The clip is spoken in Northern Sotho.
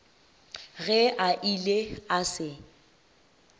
ge a ile a se